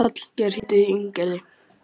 Hallgeir, hringdu í Ingigerði.